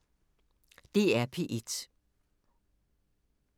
DR P1